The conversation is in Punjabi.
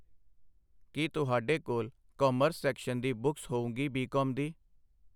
ਕੀ ਤੁਹਾਡੇ ਕੋਲ ਕਾਮਰਸ ਸ਼ੈਕਸ਼ਨ ਦੀ ਬੁੱਕਸ ਹੋਊਗੀ ਬੀ ਕਾਮ ਦੀ